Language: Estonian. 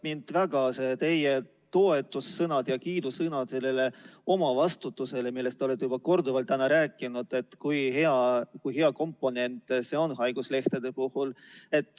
Mind väga puudutavad teie toetus- ja kiidusõnad sellele omavastutusele, millest te olete juba korduvalt rääkinud, et kui hea komponent see on haiguslehtede puhul.